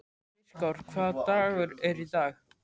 Styrkár, hvaða dagur er í dag?